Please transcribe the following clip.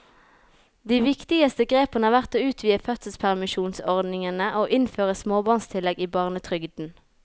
De viktigste grepene har vært å utvide fødselspermisjonsordningene og innføre småbarnstillegget i barnetrygden.